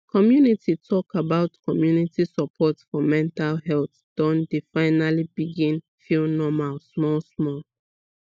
community talk about community support for mental health don dey finally begin feel normal small small